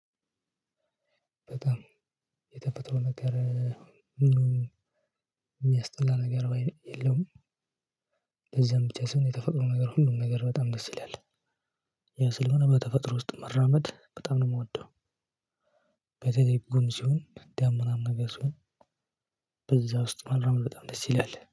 በጣም የተፈጥሮ ነገር የሚያስጠላ ነገር የለም። እንደዚያም ብቻ ሳይሆን የተፈጥሮ ነገር ሁሉም ነገር በጣም ደስ ይላል። ያ ስለሆነ በተፈጥሮ ውስጥ መራመድ በጣም ነው የምወደው። ከዛ ደግሞ ጉም ሲሆን ዳመናማ ምናምን ነገር ሲሆን። በዛ ውስጥ መራመድ በጣም ደስ ይላል